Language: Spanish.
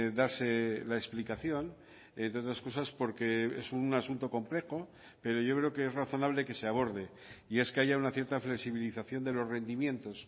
darse la explicación entre otras cosas porque es un asunto complejo pero yo creo que es razonable que se aborde y es que haya una cierta flexibilización de los rendimientos